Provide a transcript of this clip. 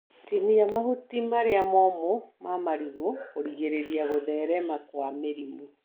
Tinia mahuti marĩa momũ ma marigũ kũrigĩrĩria gũtherema kwa mĩrimũ.